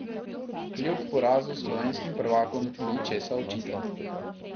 Kljub porazu slovenskim prvakom ni česa očitati.